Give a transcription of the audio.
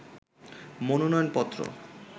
মনোনয়ন পত্র